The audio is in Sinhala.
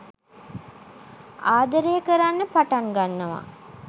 ආදරය කරන්න පටන් ගන්නවා